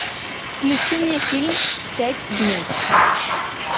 включи мне фильм пять дней